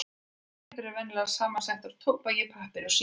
Sígarettur eru venjulega samsettar úr tóbaki, pappír og síu.